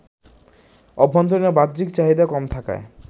অভ্যন্তরীণ ও বাহ্যিক চাহিদা কম থাকায়